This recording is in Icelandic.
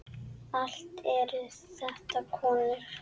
Allt eru þetta konur.